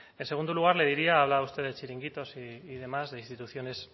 en segundo lugar le diría ha hablado usted de chiringuitos y demás de instituciones